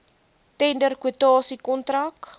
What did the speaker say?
tender kwotasie kontrak